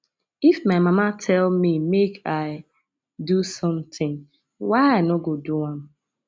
if my mama tell me make i do something why i no go do am